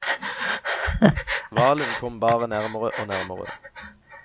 Hvalen kom bare nærmere og nærmere.